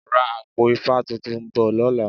Ra àpò ifá tuntun bò lọ́la.